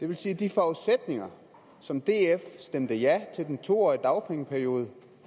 vil sige at de forudsætninger som df stemte ja til den to årige dagpengeperiode